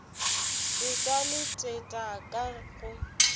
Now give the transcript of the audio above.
seta le teta ka go